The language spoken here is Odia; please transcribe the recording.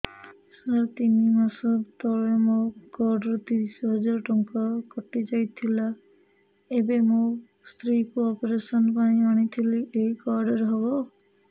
ସାର ତିନି ମାସ ତଳେ ମୋ କାର୍ଡ ରୁ ତିରିଶ ହଜାର ଟଙ୍କା କଟିଯାଇଥିଲା ଏବେ ମୋ ସ୍ତ୍ରୀ କୁ ଅପେରସନ ପାଇଁ ଆଣିଥିଲି ଏଇ କାର୍ଡ ରେ ହବ